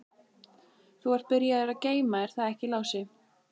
Þú ert byrjaður að geyma, er það ekki Lási?